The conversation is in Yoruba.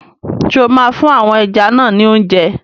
Ṣé o máa fún àwọn ẹja náà ni óúnjẹ?